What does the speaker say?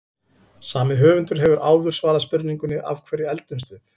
Sami höfundur hefur áður svarað spurningunni Af hverju eldumst við?